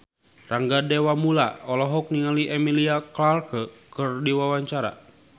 Rangga Dewamoela olohok ningali Emilia Clarke keur diwawancara